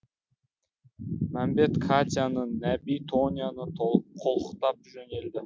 мәмбет катяны нәби тоняны қолтықтап жөнелді